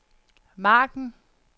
margen